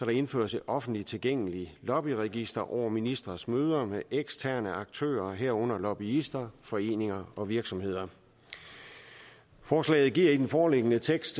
indføres et offentligt tilgængeligt lobbyregister over ministres møder med eksterne aktører herunder lobbyister foreninger og virksomheder forslaget giver i den foreliggende tekst